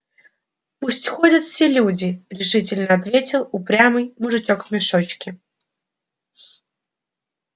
пусть ходят все люди решительно ответил упрямый мужичок в мешочке